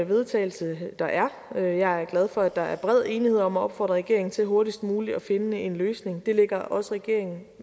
vedtagelse der er jeg er glad for at der er bred enighed om at opfordre regeringen til hurtigst muligt at finde en løsning det ligger også regeringen